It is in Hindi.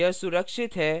यह सुरक्षित है